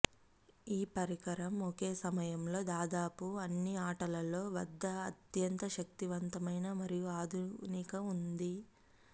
ఈ పరికరం ఒకే సమయంలో దాదాపు అన్ని ఆటలలో వద్ద అత్యంత శక్తివంతమైన మరియు ఆధునిక ఉంది